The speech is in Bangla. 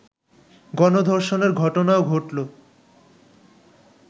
গণধর্ষণের ঘটনাও ঘটল